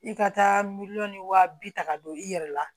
I ka taa miliyɔn ni wa bi ta ka don i yɛrɛ la